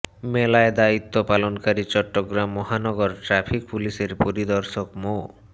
মেলায় দায়িত্ব পালনকারী চট্টগ্রাম মহানগর ট্রাফিক পুলিশের পরিদর্শক মো